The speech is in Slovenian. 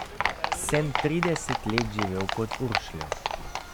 Sem trideset let živel pod Uršljo.